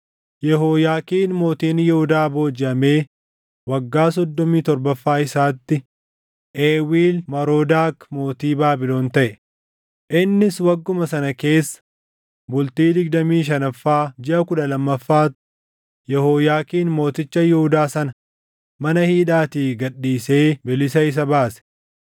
Yehooyaakiin mootiin Yihuudaa boojiʼamee waggaa soddomii torbaffaa isaatti, Eewiil Marodaak mootii Baabilon taʼe; innis wagguma sana keessa bultii digdamii shanaffaa jiʼa kudha lammaffaatti Yehooyaakiin mooticha Yihuudaa sana mana hidhaatii gad dhiisee bilisa isa baase.